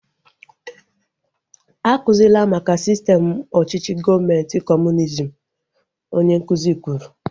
A kuzila maka sistem ọchịchị gọọmenti kọmunizm! Onye nkụzi kwuru